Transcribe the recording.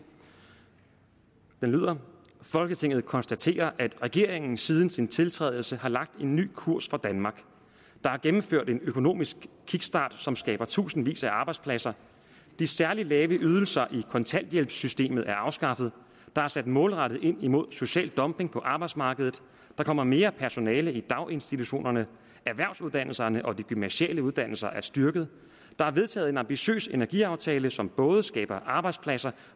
lyder folketinget konstaterer at regeringen siden sin tiltrædelse har lagt en ny kurs for danmark der er gennemført en økonomisk kickstart som skaber tusindvis af arbejdspladser de særlig lave ydelser i kontanthjælpssystemet er afskaffet der er sat målrettet ind mod social dumping på arbejdsmarkedet der kommer mere personale i daginstitutionerne erhvervsuddannelserne og de gymnasiale uddannelser er styrket der er vedtaget en ambitiøs energiaftale som både skaber arbejdspladser